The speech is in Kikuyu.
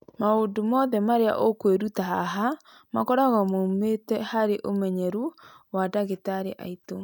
Maũndũ mothe marĩa ũkwĩruta haha makoragwo moimĩte harĩ ũmenyeru wa ndagĩtarĩ aitũ.